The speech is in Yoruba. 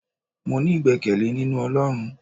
mo ní igbekele ninú olorún